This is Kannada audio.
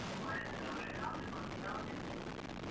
ಒಳ್ಳೇದ್ ನೋಡು ಯಾವ್ದು ತಕೊಳ್ತಿ? ಯಾವ್ದಿರಲಿ?